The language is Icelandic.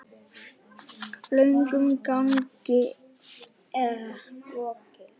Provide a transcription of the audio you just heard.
Löngum gangi er lokið.